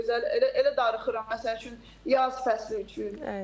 Çox gözəl elə darıxıram, məsəl üçün yaz fəsli üçün.